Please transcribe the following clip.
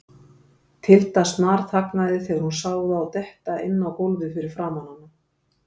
Tilda snarþagnaði þegar hún sá þá detta inn á gólfið fyrir framan hana.